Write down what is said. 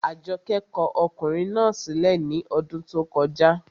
Àjọkẹ́ kọ ọkùnrin náà sí lẹ̀ ní ọdún tó kọjá